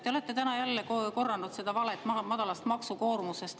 Te olete täna jälle korranud seda valet madalast maksukoormusest.